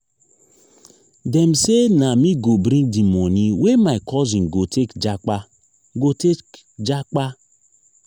dem sey na me go bring di moni wey my cousin go take japa. go take japa.